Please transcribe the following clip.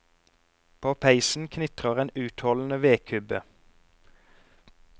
På peisen knitrer en utholdende vedkubbe.